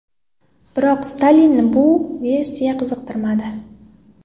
Biroq Stalinni bu versiya qiziqtirmadi.